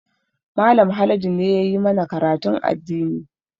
Mallam Haladu ne ya yi mana karatun addini